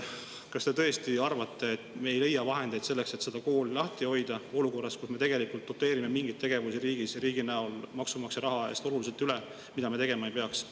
Kas te tõesti arvate, et me ei leia vahendeid selleks, et seda kooli lahti hoida olukorras, kus me doteerime riigis maksumaksja raha eest oluliselt üle mingeid tegevusi, mida me tegema ei peaks?